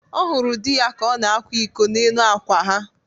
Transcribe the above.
Ọ hụrụ di ya ka ọ na-akwa iko n'elu akwa ha